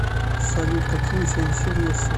салют какие у тебя интересы